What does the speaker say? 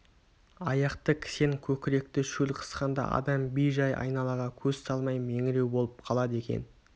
аяқты кісен көкіректі шөл қысқанда адам бей-жай айналаға көз салмай меңіреу болып қалады екен